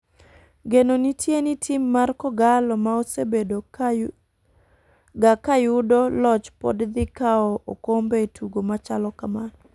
Geno nitie ni tim mar kogalo ma osebedo ga kayudo loch pod dhi kawo okombe e tugo machalo kamano.